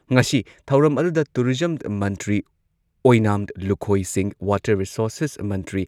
ꯉꯁꯤ ꯊꯧꯔꯝ ꯑꯗꯨꯗ ꯇꯨꯔꯤꯖꯝ ꯃꯟꯇ꯭ꯔꯤ ꯑꯣꯏꯅꯥꯝ ꯂꯨꯈꯣꯏ ꯁꯤꯡꯍ, ꯋꯥꯇꯔ ꯔꯤꯁꯣꯔꯁꯦꯁ ꯃꯟꯇ꯭ꯔꯤ